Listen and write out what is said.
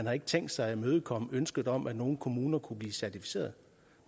har tænkt sig at imødekomme ønsket om at nogle kommuner kunne blive certificeret